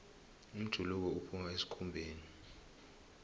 umjuluko uphuma esikhumbeni